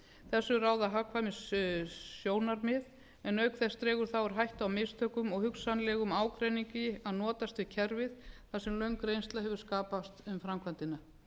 þessu ráða hagkvæmnissjónarmið en auk þess dregur það úr hættu á mistökum og hugsanlegum ágreiningi að notast við kerfið þar sem löng reynsla hefur skapast um framkvæmdina er